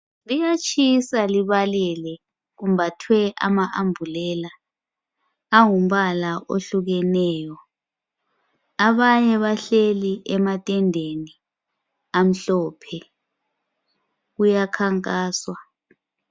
liyatshisa libalele kubathwe ama ambulela angumpala ohlukeneyo abanye bahleli emathendeni amhlophe kuya khankaswa